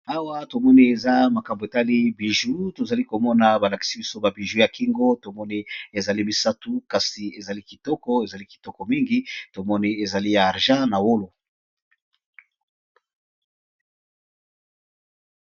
Awa tozalikomona eza makambo etali bijoux tozalikomona balakisi biso ba bijoux ya kingo eza misatu kasi ezali kitoko penza pe ezali ya argent na wolo.